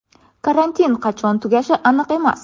Karantin qachon tugashi aniq emas.